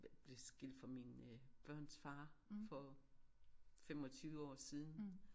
Blevet skilt fra mine øh børns far for 25 år siden